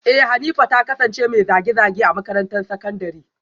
Eh Hanifa ta kasance mai zage-zage a makarantar sakandare